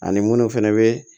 Ani munnu fɛnɛ be